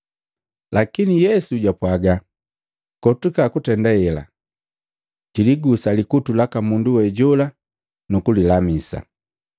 Lakini Yesu japwaga, “Kotuka kutenda hela!” Jiligusa likutu laka mundu we hoju, nukulilamisa.